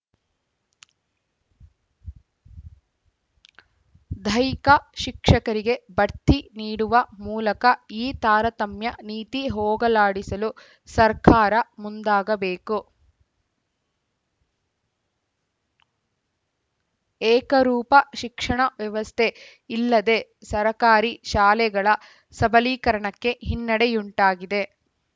ದೈಹಿಕ ಶಿಕ್ಷಕರಿಗೆ ಭಡ್ತಿ ನೀಡುವ ಮೂಲಕ ಈ ತಾರತಮ್ಯ ನೀತಿ ಹೋಗಲಾಡಿಸಲು ಸರಕಾರ ಮುಂದಾಗಬೇಕು ಏಕರೂಪ ಶಿಕ್ಷಣ ವ್ಯವಸ್ಥೆ ಇಲ್ಲದೆ ಸರಕಾರಿ ಶಾಲೆಗಳ ಸಬಲೀಕರಣಕ್ಕೆ ಹಿನ್ನೆಡೆಯುಂಟಾಗಿದೆ